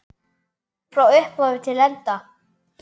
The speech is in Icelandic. Frá upphafi til enda.